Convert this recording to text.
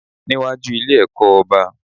Níwájú Ilé ẹ̀kọ́ oba